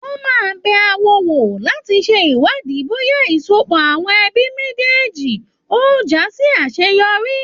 Wọn máa n bẹ áwo wò láti ṣe iwádìí bóyá ìsopò àwọn ẹbí méjéèjì ó já sí àseyọrí.